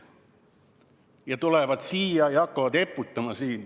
Nad tulevad siia ja hakkavad siin eputama.